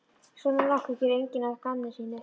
Svona nokkuð gerir enginn að gamni sínu.